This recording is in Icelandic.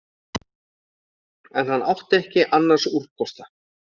En hann átti ekki annars úrkosta